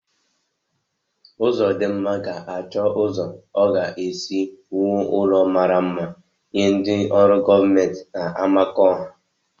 Uzodimma ga-achọ ụzọ ọ ga-esi wuo ụlọ mmara mma nye ndị ọrụ gọọmenti n'Amakọhia.